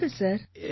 சொல்லுங்க சார்